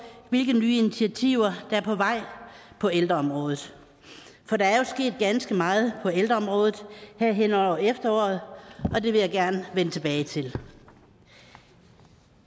hvilke nye initiativer der på vej på ældreområdet for der er jo sket ganske meget på ældreområdet her hen over efteråret og det vil jeg gerne vende tilbage til